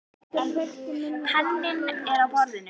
Penninn er á borðinu.